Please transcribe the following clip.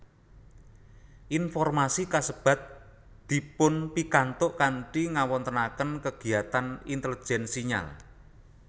Informasi kasebat dipunpikantuk kanthi ngawontenaken kegiyatan intelijen sinyal